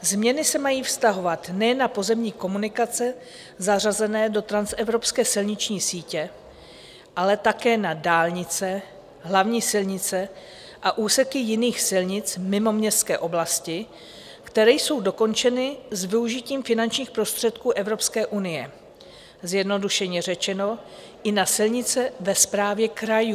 Změny se mají vztahovat nejen na pozemní komunikace zařazené do transevropské silniční sítě, ale také na dálnice, hlavní silnice a úseky jiných silnic mimo městské oblasti, které jsou dokončeny s využitím finančních prostředků Evropské unie, zjednodušeně řečeno, i na silnice ve správě krajů.